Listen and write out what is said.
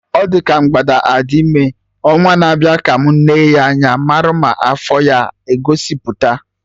Ọ dị ka mgbada a dị ime, ọnwa na-abịa ka mụ Nee anya marụ ma afọ ya aga egosipụta